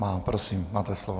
Má. Prosím, máte slovo.